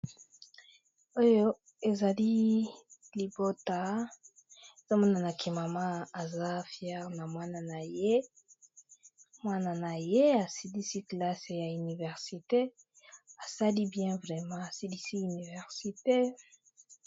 Oyo izali libota, nazomona maman aza fière ya muana naye asilisi université